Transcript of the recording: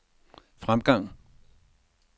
fremgang